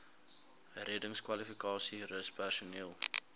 reddingskwalifikasies rus personeel